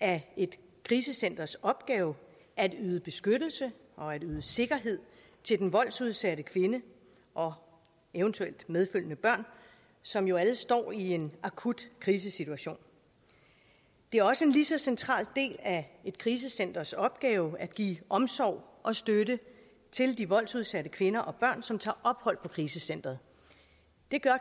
af et krisecenters opgave at yde beskyttelse og at yde sikkerhed til den voldsudsatte kvinde og eventuelt medfølgende børn som jo alle står i en akut krisesituation det er også en lige så central del af et krisecenters opgave at give omsorg og støtte til de voldsudsatte kvinder og børn som tager ophold på krisecenteret det gør